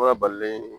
balilen